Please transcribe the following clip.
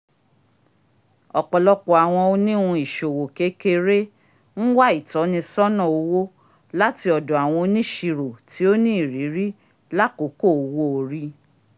ọpọlọpọ awọn oniwun iṣowo kekere n wa itọnisọna owo lati ọdọ awọn onisiro ti o ní irìiri l'akoko owo-ori